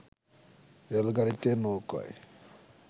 রেলগাড়িতে, নৌকোয়